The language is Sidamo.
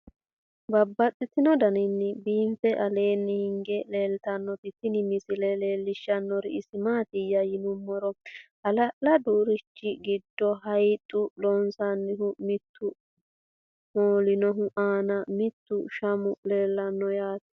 Babaxxittinno daninni biiffe aleenni hige leelittannotti tinni misile lelishshanori isi maattiya yinummoro hala'ladu irishi giddo hayiixu losaaminohu mittu moolinohu nna mittu shamu leellanno yaatte